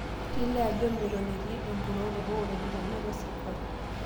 Kelio ajo meton etii empurrore oo ropiyiani atua sirkali